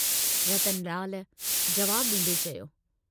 रतनलाल जवाबु डींदे चयो।